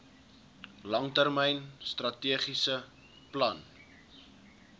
langtermyn strategiese plan